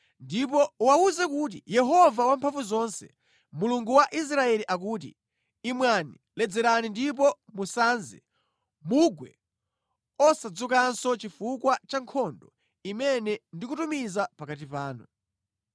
“Ndipo uwawuze kuti, ‘Yehova Wamphamvuzonse, Mulungu wa Israeli akuti: Imwani, ledzerani ndipo musanze, mugwe osadzukanso chifukwa cha nkhondo imene ndikutumiza pakati panu.’